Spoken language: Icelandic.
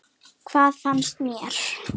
Hvað fannst mér?